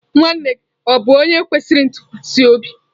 Nwanne gi o bu onye kwesiri ntukwasi obi?